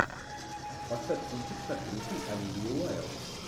поставь кинчик с актрисой оливией уайлд